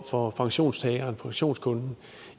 for pensionstageren pensionskunden